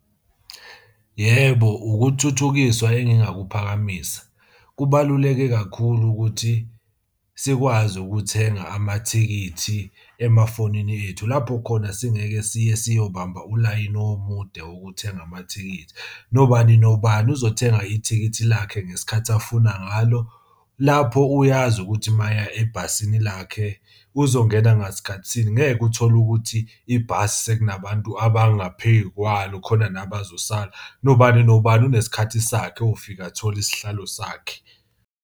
Yebo, ukuthuthukiswa engingakuphakamisa. Kubaluleke kakhulu ukuthi sikwazi ukuthenga amathikithi emafonini ethu lapho khona singeke siye siyobamba ulayini omude wokuthenga amathikithi. Nobani nobani uzothenga ithikithi lakhe ngesikhathi afuna ngalo. Lapho uyazi ukuthi uma eye ebhasini lakhe uzongena ngasikhathi sini, ngeke uthole ukuthi ibhasi sekunabantu abangaphezu kwalo khona nabazosala, nobani nobani unesikhathi sakhe uyofika athola isihlalo sakhe.